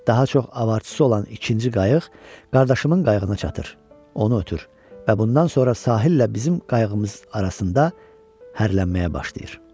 Daha çox avarçısı olan ikinci qayıq qardaşımın qayığına çatır, onu ötür və bundan sonra sahillə bizim qayığımız arasında hərlənməyə başlayır.